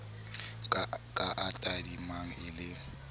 ka a tadimang e le